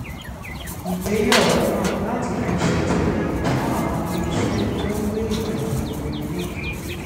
ìgbéyàwó náà láti fi ṣètìlẹyìn fún àwọn iléeṣẹ́ tó ń gbé ìwà rere lékè